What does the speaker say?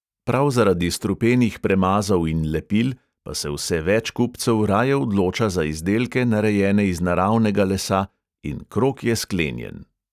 Prav zaradi strupenih premazov in lepil pa se vse več kupcev raje odloča za izdelke, narejene iz naravnega lesa, in krog je sklenjen.